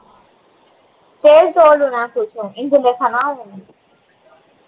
તેલ તો ઓલું નાખું ચુ ઇન્દુલેખા નુ આવે ને